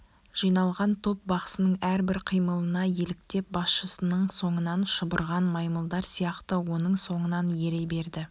жиналған топ бақсының әрбір қимылына еліктеп басшысының соңынан шұбырған маймылдар сияқты оның соңынан ере берді